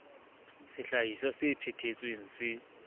sehlahiswa se phe thetsweng se